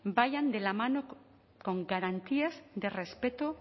vayan de la mano con garantías de respeto